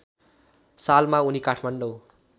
सालमा उनी काठमाडौँ